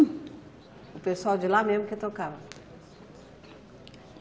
O pessoal de lá mesmo que tocava?